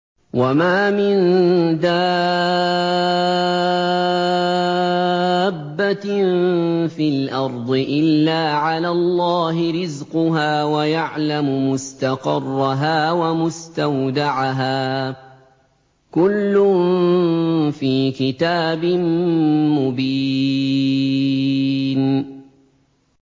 ۞ وَمَا مِن دَابَّةٍ فِي الْأَرْضِ إِلَّا عَلَى اللَّهِ رِزْقُهَا وَيَعْلَمُ مُسْتَقَرَّهَا وَمُسْتَوْدَعَهَا ۚ كُلٌّ فِي كِتَابٍ مُّبِينٍ